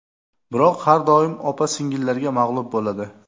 Biroq har doim opa-singillarga mag‘lub bo‘ladi.